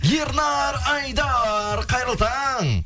ернар айдар қайырлы таң